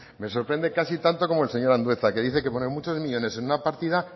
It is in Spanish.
me sorprende casi tanto como el señor andueza que dice que poner muchos millónes en una partida